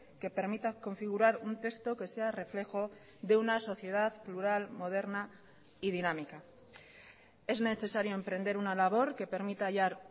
que permita configurar un texto que sea reflejo de una sociedad plural moderna y dinámica es necesario emprender una labor que permita hallar